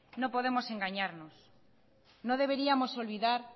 no podemos engañarnos no deberíamos olvidar